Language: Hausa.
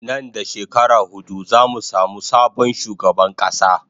Nan da shekara hudu zamu samu sabon shugaban kasa